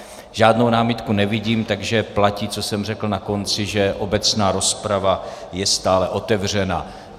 Žádnou námitku nevidím, takže platí, co jsem řekl na konci, že obecná rozprava je stále otevřena.